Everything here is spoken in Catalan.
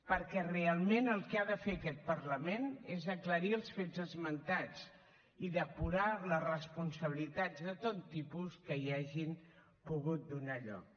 perquè realment el que ha de fer aquest parlament és aclarir els fets esmentats i depurar les responsabilitats de tot tipus que hi hagin pogut donar lloc